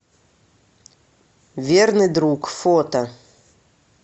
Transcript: верный друг фото